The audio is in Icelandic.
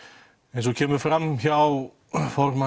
eins og kemur fram hjá formanni